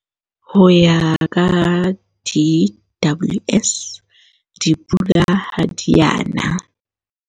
Ho ya ka DWS, dipula ha di a na